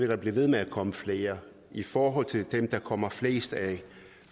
der blive ved med at komme flere i forhold til dem der kommer flest af